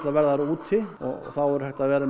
verða þær úti og þá verður hægt að vera með